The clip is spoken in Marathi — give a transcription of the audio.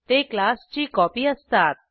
ते क्लासची कॉपी असतात